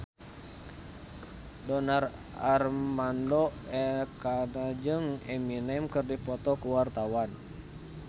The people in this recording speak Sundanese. Donar Armando Ekana jeung Eminem keur dipoto ku wartawan